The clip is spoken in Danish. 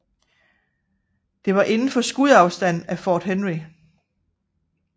Det var inden for skudafstand fra Fort Henry